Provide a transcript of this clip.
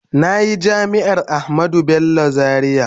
Na yi Jami’ar Ahmadu Bello Zariya.